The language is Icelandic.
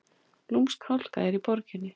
Lúmsk hálka í borginni